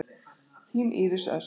Þín Íris Ösp.